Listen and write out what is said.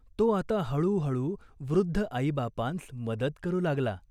तो आता हळूहळू वृद्ध आईबापांस मदत करू लागला.